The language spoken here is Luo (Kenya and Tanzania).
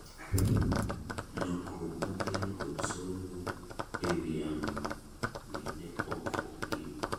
lokruok mokel kod somo e wi yamo ni nee ok opim